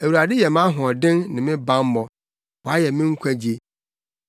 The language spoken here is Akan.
Awurade yɛ mʼahoɔden ne me bammɔ; wayɛ me nkwagye.